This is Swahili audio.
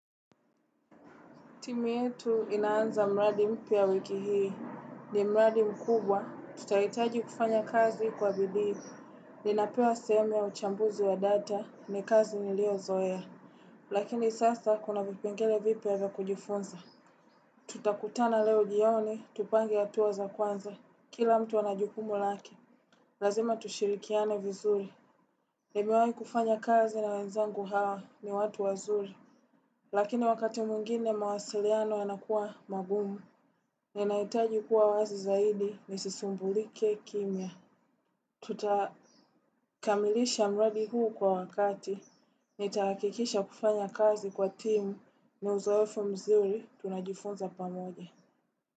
Timu yetu inaanza mradi mpya wiki hii. Ni mradi mkubwa. Tutahitaji kufanya kazi kwa bidii. Ninapewa sehemu ya uchambuzi wa data ni kazi nilio zoea. Lakini sasa kuna vipengele vipya ya kujifunza. Tutakutana leo jioni, tupange hatua za kwanza. Kila mtu anajukumu lake. Lazima tushirikiane vizuri. Nemewai kufanya kazi na wenzangu hawa ni watu wazuri. Lakini wakati mwingine mawasiliano yanakuwa magumu. Ninahitaji kuwa wazi zaidi ni sisumbulike kimya. Tutakamilisha mradi huu kwa wakati. Nitahakikisha kufanya kazi kwa timu ni uzoefu mzuri tunajifunza pamoje.